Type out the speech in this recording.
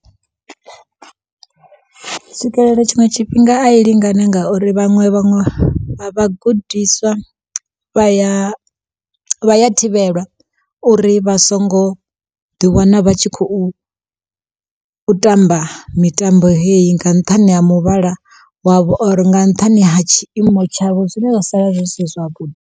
tshiṅwe tshifhinga a i lingani ngauri vhaṅwe vha vhagudiswa vha ya vha ya thivhelwa, uri vha songo ḓi wana vha tshi khou tamba mitambo heyi nga nṱhani ha muvhala wavho or nga nṱhani ha tshiimo tshavho zwine zwa sala zwi si zwavhuḓi.